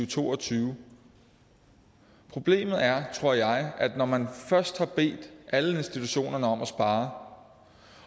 to og tyve problemet er tror jeg at når man først har bedt alle institutionerne om at spare